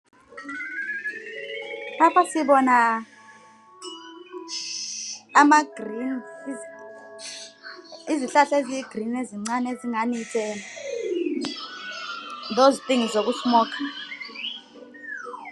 Lapha sibona izihlahla eziyigirini ezicane ezingani ngezokubhema.